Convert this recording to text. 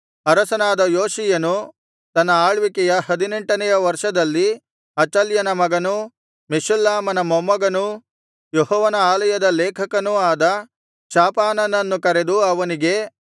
ಅರಸನಾದ ಯೋಷೀಯನು ತನ್ನ ಆಳ್ವಿಕೆಯ ಹದಿನೆಂಟನೆಯ ವರ್ಷದಲ್ಲಿ ಅಚಲ್ಯನ ಮಗನೂ ಮೆಷುಲ್ಲಾಮನ ಮೊಮ್ಮಗನೂ ಯೆಹೋವನ ಆಲಯದ ಲೇಖಕನೂ ಆದ ಶಾಫಾನನನ್ನು ಕರೆದು ಅವನಿಗೆ